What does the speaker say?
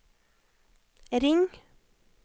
ring